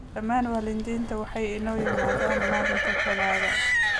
Dhammaan waalidiinta waa inay yimaadaan malinka taladaa.